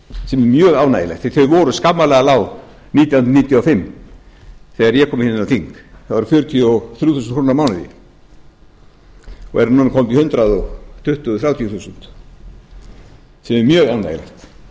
sem er mjög ánægjulegt því að þau voru skammarlega lág nítján hundruð níutíu og fimm þegar ég kom inn á þing þau voru fjörutíu og þrjú þúsund krónur á mánuði og eru núna komin upp í hundrað tuttugu til hundrað þrjátíu þúsund sem er mjög